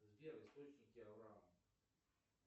сбер источники авраама